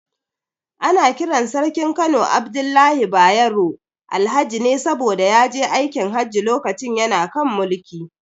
Ana kiran Sarkin Kano Abdullahi Bayero, Alhaji ne saboda ya je aikin Hajji lokacin yana kan mulki.